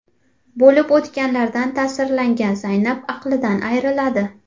Bo‘lib o‘tganlardan ta’sirlangan Zaynab aqlidan ayriladi.